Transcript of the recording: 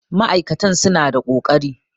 ma'aikatan suna da ƙoƙari